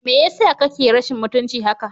Me yasa kake rashin mutunci haka?